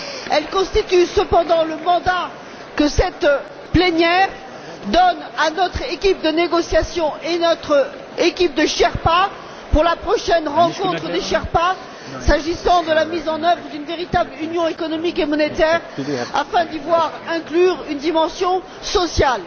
Elle constitue cependant le mandat que cette plénière donne à notre équipe de négociation et à notre équipe de sherpas pour la prochaine rencontre des sherpas s'agissant de la mise en œuvre d'une véritable union économique et monétaire afin d'y voir inclure une dimension sociale.